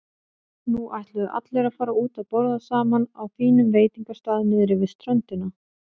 Nú ætluðu allir að fara út að borða saman á fínum veitingastað niðri við ströndina.